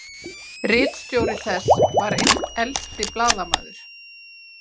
Ritstjóri þess var einn elsti blaðamaður